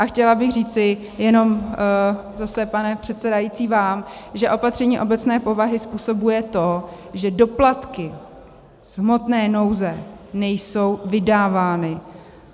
A chtěla bych říci jenom zase, pane předsedající, vám, že opatření obecné povahy způsobuje to, že doplatky z hmotné nouze nejsou vydávány.